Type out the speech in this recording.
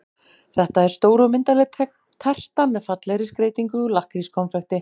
Þetta er stór og myndarleg terta með fallegri skreytingu úr lakkrískonfekti.